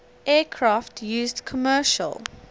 aircraft used commercial